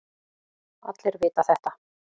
Allir vita þetta.